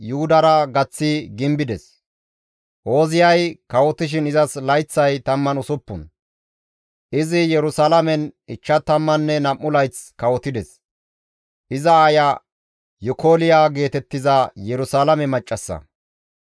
Ooziyay kawotishin izas layththay 16; izi Yerusalaamen 52 layth kawotides; iza aaya Yikolya geetettizara Yerusalaame maccassa.